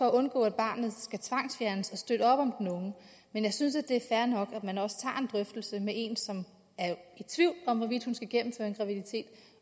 at undgå at barnet skal tvangsfjernes og vi støtter op om den unge men jeg synes at det er fair nok at man også tager en drøftelse med en som er i tvivl om hvorvidt hun skal gennemføre en graviditet